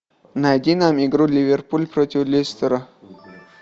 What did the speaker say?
найди нам игру ливерпуль против лестера